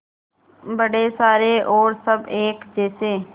बड़े सारे और सब एक जैसे